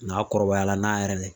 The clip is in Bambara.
N'a kɔrɔbayala n'a yɛrɛ ye